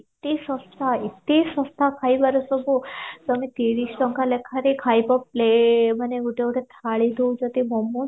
ସସ୍ଥା ଏତେ ସସ୍ଥା ଖାଇବାରେ ସବୁ ଟେମ ତିରିଶ ଟଙ୍କା ଲେଖାରେ ଖାଇବ ପ୍ଲେ ମାନେ ଗୋଟେ ଗୋଟେ ଥାଳି ଦଉଛନ୍ତି momos